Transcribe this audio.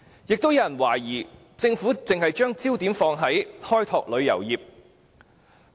有些人亦懷疑政府只會把焦點放在開拓旅遊業。